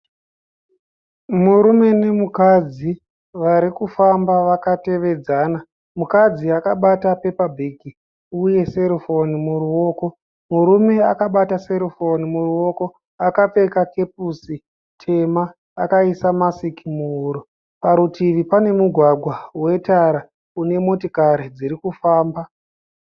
Murume nemukadzi vari kufamba vakatevedzana mukadzi akabata pepa bhegi uye serufoni muruoko murume akabata serufoni muruoko akapfeka kepusi tema akaisa masiki muhuro parutivi pane mugwagwa wetara une motikari dziri kufamba.